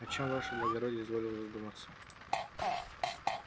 о чем ваше благородие изволил задуматься